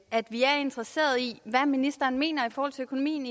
at vi er interesserede i hvad ministeren mener i forhold til økonomien